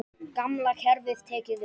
Gamla kerfið tekið upp?